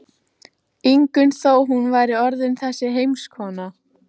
Ingunn þó hún væri orðin þessi heimskona.